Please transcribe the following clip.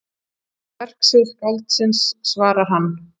Verksvið skáldsins svarar hann.